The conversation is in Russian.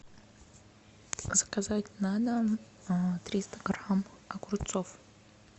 заказать на дом триста грамм огурцов